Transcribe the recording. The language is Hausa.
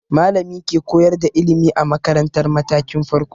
Malami ke koyar da ilimi a makaratar matakin farko.